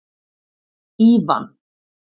Ívan